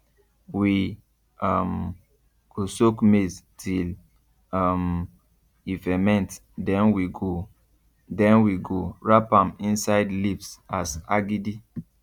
we um go soak maize till um e ferment then we go then we go wrapmam inside leaves as agidi